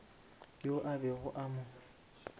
yoo a bego a mo